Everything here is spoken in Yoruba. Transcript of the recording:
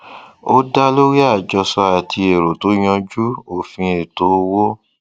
ó dá lórí àjọsọ àti èrò tó yanjú òfin ètò owó